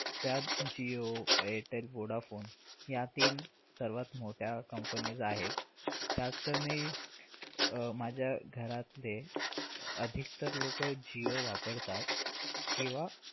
त्यात जिओ एरटेल वोडाफोन ह्या तीन सर्वात मोठ्या companies आहेत. त्याचे मी अह माझ्या घरातले अधिकतर लोक जिओ वापरतात किंवा